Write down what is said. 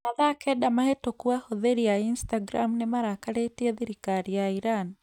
Mathaa kenda mahĩtũku ahũthĩri a Instagram nĩ marakarĩtie thirikari ya Iran.